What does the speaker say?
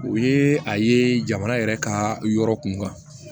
O ye a ye jamana yɛrɛ ka yɔrɔ kun kan